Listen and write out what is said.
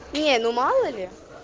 не ну мало ли